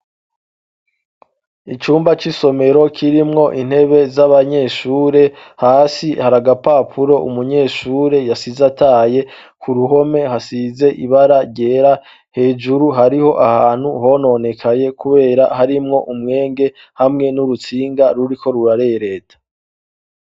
Icumba c'isomero kirimwo intebe z'abanyeshure hasi hari agapapuro umunyeshure yasize ataye ,ku ruhome hasize ibara ryera hejuru hariho ahantu hononekaye kubera harimwo umwenge hamwe n'urutsinga ruriko rurarereta.